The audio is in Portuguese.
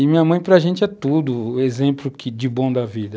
E minha mãe para a gente é tudo o exemplo de bom da vida.